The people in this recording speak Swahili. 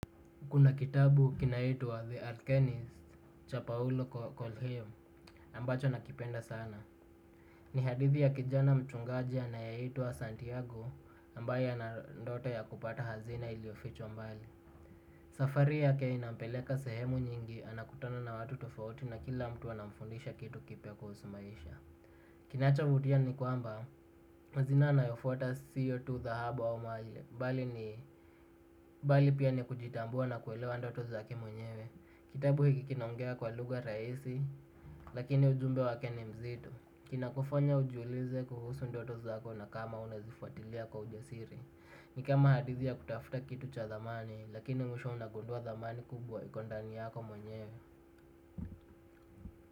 Kuna kitabu kinaitwa The Alchemist cha Paolo Kolheo ambacho nakipenda sana. Ni hadithi ya kijana mchungaji anayeitwa Santiago ambaye ana ndoto ya kupata hazina iliofichwa mbali. Safari yake inampeleka sehemu nyingi anakutana na watu tofauti na kila mtu anamfundisha kitu kipya kuhusu maisha. Kinachovutia ni kwamba hazina anayofutwa sio tu dhahabu au mali bali ni bali pia ni kujitambua na kuelewa ndoto zake mwenyewe. Kitabu hiki kinaongea kwa lugha rajisi, lakini ujumbe wake ni mzito. Kinakufanya ujiulize kuhusu ndoto zako na kama unazifuatilia kwa ujasiri. Ni kama hadithi ya kutafuta kitu cha thamani, lakini mwisho unagundua thamani kubwa iko ndani yako mwenye.